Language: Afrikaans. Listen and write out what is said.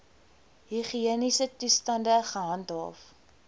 higiëniese toestande gehandhaaf